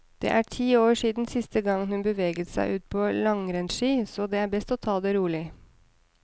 Det er ti år siden sist gang hun beveget seg ut på langrennsski, så det er best å ta det rolig.